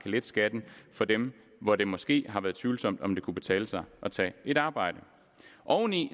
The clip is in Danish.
lette skatten for dem hvor det måske har været tvivlsomt om det kunne betale sig at tage et arbejde oven i